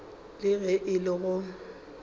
le ge e le go